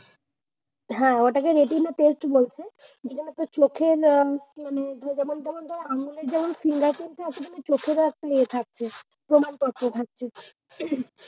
হ্যাঁ ওটাকে retina test বলছে যেখানে তোর চোখের আহ যেমন তেমন ধর আঙ্গুলের যেমন fingureprint আছে না? চোখের ও এমন একটা ইয়ে থাকে।